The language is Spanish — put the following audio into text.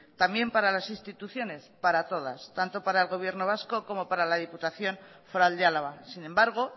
también para las instituciones para todas tanto para el gobierno vasco como para la diputación foral de álava sin embargo